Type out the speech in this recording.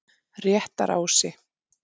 Réttarási